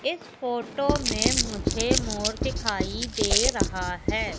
इस फोटो में मुझे मोर दिखाई दे रहा है।